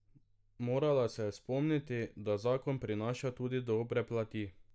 Morala se je spomniti, da zakon prinaša tudi dobre plati.